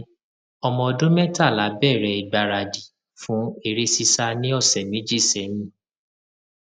ọmọkùnrin mi ọmọ ọdún mẹtàlá bẹrẹ ìgbaradì fún eré sísá ní ọsẹ méjì sẹyìn